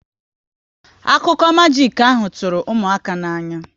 Akụkụ majik ahụ tụrụ ụmụaka n'anya